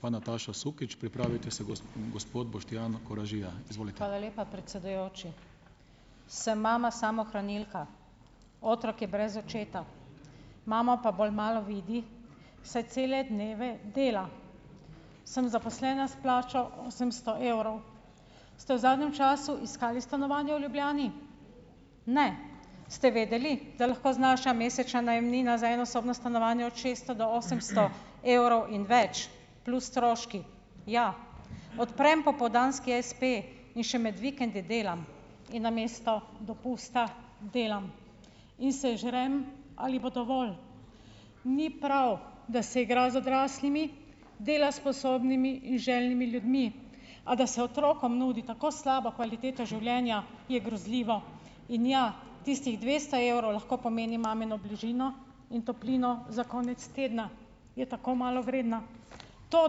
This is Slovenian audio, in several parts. Hvala lepa, predsedujoči. Sem mama samohranilka. Otrok je brez očeta, mamo pa bolj malo vidi, saj cele dneve dela. Sem zaposlena s plačo osemsto evrov. Ste v zadnjem času iskali stanovanje v Ljubljani? Ne. Ste vedeli, da lahko znaša mesečna najemnina za enosobno stanovanje od šeststo do osemsto evrov in več plus stroški. Ja. odprem popoldanski espe in še med vikendi delam in namesto dopusta delam in se žrem, ali bo dovolj. Ni prav, da se igra z odraslimi, dela sposobnimi in željnimi ljudmi, a da se otrokom nudi tako slaba kvaliteta življenja, je grozljivo. In ja, tistih dvesto evrov lahko pomeni mamino bližino in toplino za konec tedna. Je tako malo vredna. To,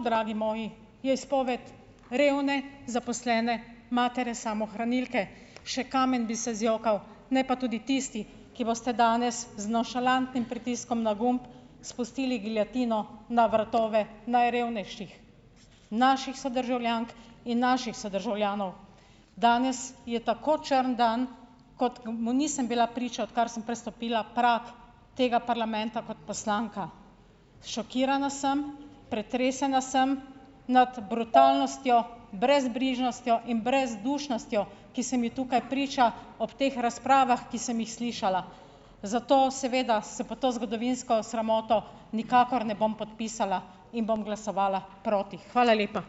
dragi moji, je izpoved revne zaposlene matere samohranilke. Še kamen bi se zjokal, ne pa tudi tisti, ki boste danes z nonšalantnim pritiskom na gumb spustili giljotino na vratove najrevnejših, naših sodržavljank in naših sodržavljanov. Danes je tako črn dan, kot, mu nisem bila priča, odkar sem prestopila prag tega parlamenta kot poslanka. Šokirana sem, pretresena sem nad brutalnostjo, brezbrižnostjo in brezdušnostjo, ki se mi tukaj priča ob teh razpravah, ki sem jih slišala. Zato seveda se pod to zgodovinsko sramoto nikakor ne bom podpisala in bom glasovala proti. Hvala lepa.